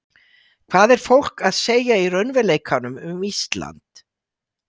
Hvað er fólk að segja í raunveruleikanum um Ísland?